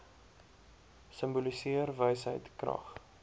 simboliseer wysheid krag